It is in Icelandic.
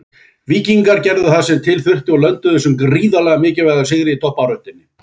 Víkingarnir gerðu það sem til þurfti og lönduðu þessum gríðarlega mikilvæga sigri í toppbaráttunni.